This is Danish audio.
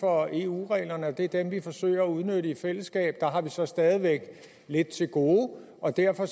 for eu reglerne og det er dem vi forsøger at udnytte i fællesskab der har vi så stadig væk lidt til gode og derfor